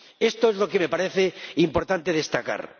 Esto es lo que me parece importante destacar.